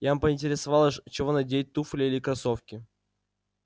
я поинтересовалась чего надевать туфли или кроссовки